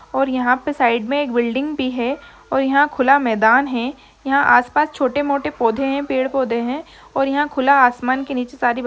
--और यहा पे साइड में एक बिल्डिंग भी है और यहा खुला मैदान है यहा आसपास छोटे-मोटे पौधे है पेड़-पौधे है और यहा खुला आसमान के नीचे सारी --